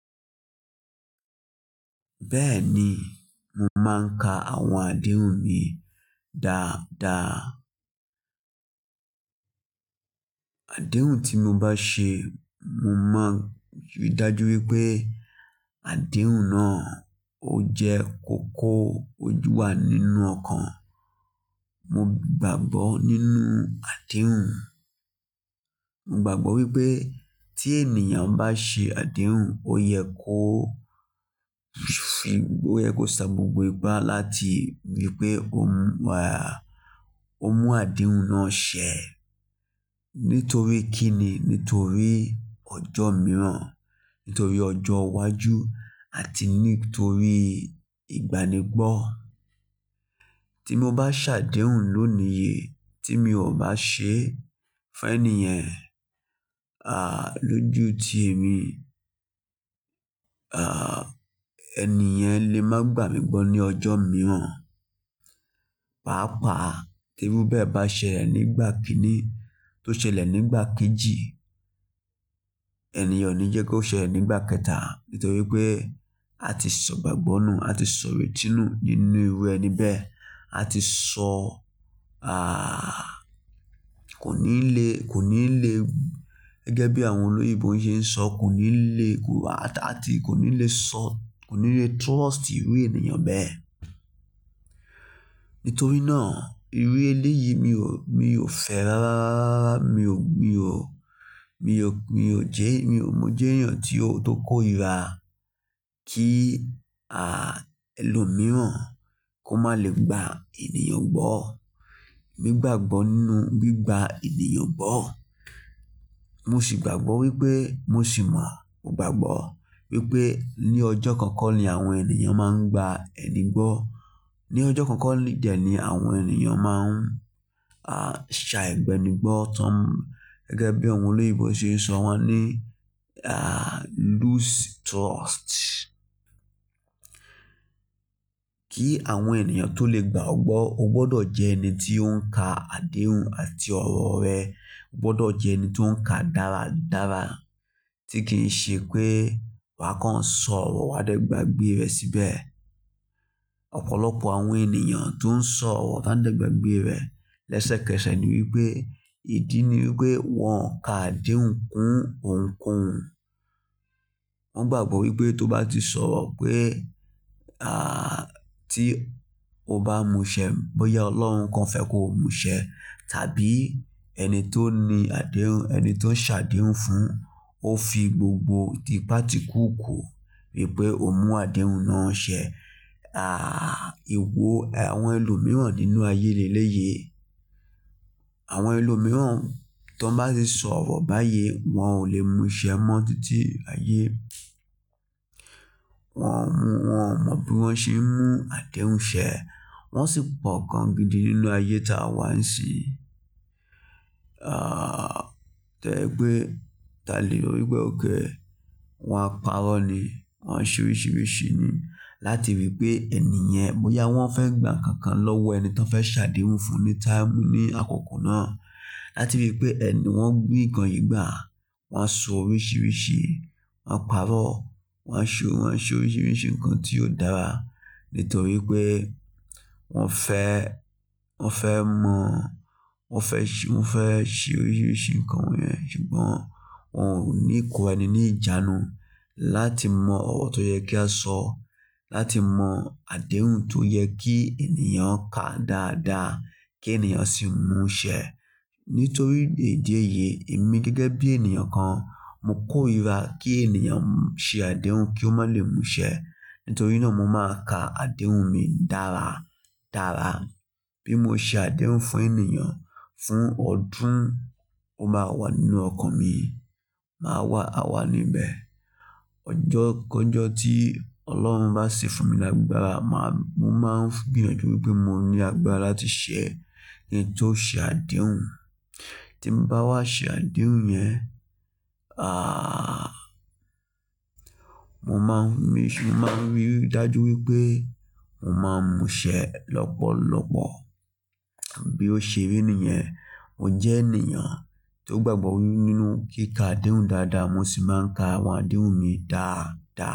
Bẹ́ẹ̀ni, mo máa ń ka àwọn àdéhùn mi dáadáa. Àdéhùn tí mo bá ṣe, mo máa ríi dájú wípé àdéhùn náà ó jẹ́ kòkò, ó jù wa nínú ọkàn. Mo gbàgbọ́ nínú àdéhùn. Mo gbàgbọ́ wípé tí ènìyàn bá ṣe àdéhùn, ó yẹ kó fi, ó yẹ kó sa gbogbo ipá láti rí pé ó ń, à, ó mú àdéhùn náà ṣẹ. Nítorí kí ni? Nítorí ọjọ́ mìíràn, nítorí ọjọ́ iwájú àti nítorí ìgbanigbọ́. Tí mo bá ṣàdéhùn lónìí yìí, tí mi ò bá ṣe fún ẹniyan, à, lójú tí èmi, à, ẹniyan lè máa gbà mí gbọ́ ní ọjọ́ mìíràn. Páápàá, tí irú bẹ́ẹ̀ bá ṣẹlẹ̀ nígbà kíní tó ṣẹlẹ̀ nígbà kejì, ẹniyàn ò ní jẹ́ kó ṣẹlẹ̀ nígbà kẹta. Nítorí pé a ti sọ̀gbàgbọ́ nù, a ti sọ ìrènù nínú irú ẹni bẹ́ẹ̀. A ti sọ, à, kò ní lè, kò ní lè, gẹ́gẹ́ bí àwọn olóyèbo ṣe ń sọ, kò ní lè ku, àti kò ní lè sọ, kò ní lè trust irú ènìyàn bẹ́ẹ̀. Nítorí náà, irú eléyìí mi ò, mi ò fẹ́ ráráá, mi ò, mi ò, mi ò jẹ́, mi ò mọ jẹ́ ènìyàn tí ó, tó kóira kí, à, ẹlòmíràn kó má lè gba ènìyàn gbọ́. Mo gbàgbọ́ nínú bí i gba ènìyàn gbọ́. Mo sì gbàgbọ́ wípé mo sì mọ, mo gbàgbọ́ wípé ní ọjọ́ kan kọ́ ni àwọn ènìyàn máa ń gba ẹni gbọ́. Ni ọjọ́ kan kọ́ dẹ̀ ni àwọn ènìyàn máa ń, à, ṣá ẹgbẹ́ni gbọ́ tán. Gẹ́gẹ́ bí àwọn olóyèbo ṣe ń sọ wọ́n ní, à, lose trust. Kí àwọn ènìyàn tó lè gbà ọ gbọ́, o gbọdọ̀ jẹ́ ẹni tí ó ń ka àdéhùn àti ọ̀rọ̀ rẹ. O gbọdọ̀ jẹ́ ẹni tó ń ka dáradára tí kì í ṣe pé wa kan ń sọ̀rọ̀ wa dẹ́gbàá gbé rẹ̀ síbẹ̀. Ọ̀pọ̀lọpọ̀ àwọn ènìyàn tó ń sọ̀rọ̀ tán dẹ́gbàá gbé rẹ̀ lẹ́sẹ̀kẹsẹ̀ ni wípé, ìdí ni wípé wọn o ka àdéhùn kún ohunkóhun. Wón gbàgbọ́ wípé tó bá ti sọ̀rọ̀ pé, à, tí o bá múṣẹ, bóyá Ọlọ́run kan fẹ́ kó múṣẹ tàbí ẹni tó ní àdéhùn, ẹni tó ń ṣàdéhùn fún, ó fi gbogbo ti pà tí kùúkùú rí pé ó mú àdéhùn náà ṣẹ. À, ìwo, àwọn ẹlòmíràn nínú ayé leléyi yìí, àwọn ẹlòmíràn tó bá ti sọ̀rọ̀ báyìí, wọ́n ò lè múṣẹ mọ títí ayé. Wọn ò mú, wọ́n ò mọ bí wọ́n ṣe ń mú àdéhùn ṣẹ. Wọn sì pọ̀ gan gidi nínú ayé táa wà ń ṣin. À, tẹ́gbé talè orí gbẹ́ òkè, wọ́n á parọ́ ni. Wọn ṣe oríṣiríṣi ni láti rí pé ẹniyan, bóyá wọ́n fẹ́ gbà nkankan lọ́wọ́ ẹni tán fẹ́ ṣàdéhùn fún ní táàmù ní àkókò náà. Láti rí pé ẹnu wọ́n rí nǹkan yìí gbà, wọ́n á sọ oríṣiríṣi, wọ́n á parọ́, wọ́n á ṣe, wọ́n á ṣe oríṣiríṣi nǹkan tí ó dára. Nítorí pé wọ́n fẹ́, wọ́n fẹ́ mọ̀, wọ́n fẹ́ ṣe, wọ́n fẹ́ ṣe oríṣiríṣi nǹkan wọ́nyẹn. Ṣùgbọ́n wọ́n ò ní ìkó ẹni ní ìjánu láti mọ ọ̀rọ̀ tó yẹ kí a sọ, láti mọ àdéhùn tó yẹ kí ènìyàn ká dáadáa kí ènìyàn sì mú ṣẹ. Nítorí ìdí èyí, èmi gẹ́gẹ́ bí ènìyàn kan, mo kóira kí ènìyàn ṣe àdéhùn kí ó má lè mú ṣẹ. Nítorí náà mo máa ka àdéhùn mi dára dára. Bí mo ṣe àdéhùn fún ènìyàn, fún ọdún, ó máa wà nínú ọkàn mi, máa wà, a wà níbẹ̀. Ọjọ́ kọ́jọ́ tí Ọlọ́run bá ṣi fún mi lágbára, màá, mo máa ń gbìyànjú wípé mo ní agbára láti ṣẹ kín tó ṣe àdéhùn. Tí mo bá wá ṣe àdéhùn yẹn, à, mo máa ń rí, mo máa ń ríi dájú wípé mo máa ń mú ṣẹ lọ́pọ̀lọ́pọ̀. Bí ó ṣe rí nìyẹn, mo jẹ́ ènìyàn tó gbàgbọ́ nínú kí ka àdéhùn dáadáa, mo sì máa ń ka àwọn àdéhùn mi dáadáa.